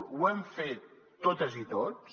ho hem fet totes i tots